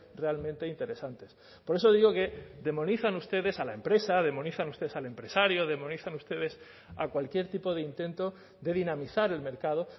realmente interesantes por eso digo que demonizan ustedes a la empresa demonizan ustedes al empresario demonizan ustedes a cualquier tipo de intento de dinamizar el mercado